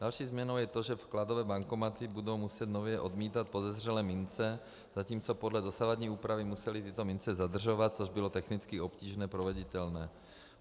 Další změnou je to, že vkladové bankomaty budou muset nově odmítat podezřelé mince, zatímco podle dosavadní úpravy musely tyto mince zadržovat, což bylo technicky obtížně proveditelné.